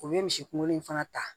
O bɛ misi kunkolo in fana ta